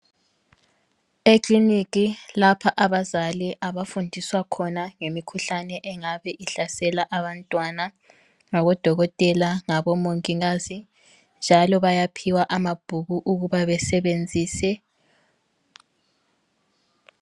Ekliniki lapha abazali abafundiswa khona ngemikhuhlane engabe ihlasela abantwana ngabodokotela, ngabomongikazi njalo bayaphiwa amabhuku okuba besebenzise.